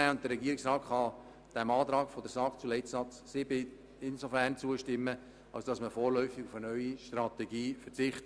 Der Regierungsrat kann der Planungserklärung der SAK zu Leitsatz 7 insofern zustimmen, als dass man vorläufig auf eine neue Strategie verzichtet.